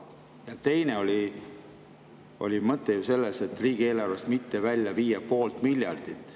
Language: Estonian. Ja teine mõte oli selles, et riigieelarvest mitte välja viia poolt miljardit.